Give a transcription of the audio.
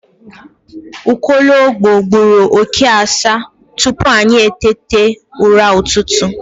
Nwologbo gburu oke asaa tupu anyị eteta ụra ụtụtụ